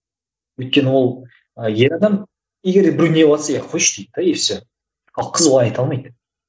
өйткені ол ы ер адам егер де біреу неғыватса иә қойшы дейді де и все ал қыз олай айта алмайды